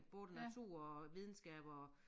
Både natur og videnskab og